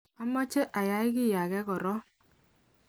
amache ayay kiy age korok.